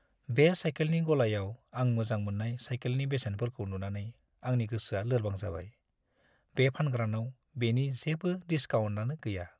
बे साइकेलनि गलायाव आं मोजां मोन्नाय साइकेलनि बेसेनफोरखौ नुनानै आंनि गोसोआ लोरबां जाबाय। बे फानग्रानाव बेनि जेबो डिसकाउन्टआनो गैया।